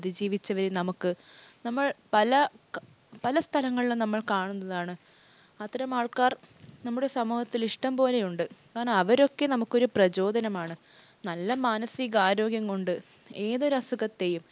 ജീവിച്ചവരെ നമുക്ക് നമ്മൾ പല സ്ഥലങ്ങളിലും നമ്മൾ കാണുന്നതാണ്. അത്തരമാൾക്കാർ നമ്മുടെ സമൂഹത്തിൽ ഇഷ്ടം പോലെ ഉണ്ട്. അവരൊക്കെ നമുക്കൊരു പ്രചോദനമാണ്. നല്ലൊരു മാനസിക ആരോഗ്യം കൊണ്ട് ഏതൊരസുഖത്തെയും,